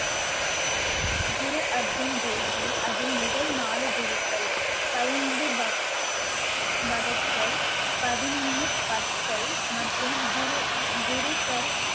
குரு அர்ஜூன் தேவ்ஜி அதில் முதல் நாலு குருக்கள் பதினைந்து பதினொன்னு மற்றும் குரு~ குருக்கர்